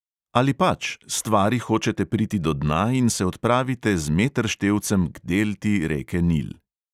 Ali pač, stvari hočete priti do dna in se odpravite z meterštevcem k delti reke nil.